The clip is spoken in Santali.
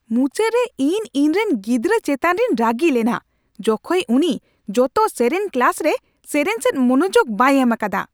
ᱢᱩᱪᱟᱹᱫ ᱨᱮ ᱤᱧ ᱤᱧᱨᱮᱱ ᱜᱤᱫᱽᱨᱟᱹ ᱪᱮᱛᱟᱱ ᱨᱤᱧ ᱨᱟᱹᱜᱤ ᱞᱮᱱᱟ, ᱡᱚᱠᱷᱮᱡ ᱩᱱᱤ ᱡᱚᱛᱚ ᱥᱮᱨᱮᱧ ᱠᱞᱟᱥ ᱨᱮ ᱥᱮᱨᱮᱧ ᱥᱮᱫ ᱢᱚᱱᱚᱡᱳᱜ ᱵᱟᱭ ᱮᱢ ᱟᱠᱟᱫᱟ ᱾